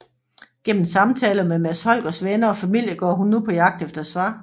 Gennem samtaler med Mads Holgers venner og familie går hun på jagt efter svar